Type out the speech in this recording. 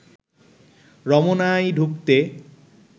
রমনায় ঢুকতে